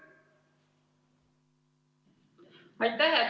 Aitäh!